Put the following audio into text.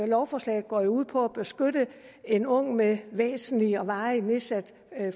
lovforslaget går jo ud på at beskytte en ung med væsentligt og varigt nedsat